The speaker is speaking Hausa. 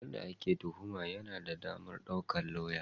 Wanda ake tuhuma yana da damar daukar lauya.